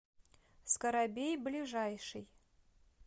скарабей ближайший